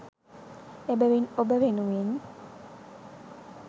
එබැවින් ඔබ වෙනුවෙන්